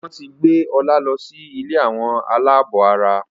wón tí gbé Ola ló sì ilé Àwọn alabó àrà.